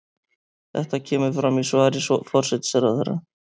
Þetta kemur fram í svari forsætisráðherra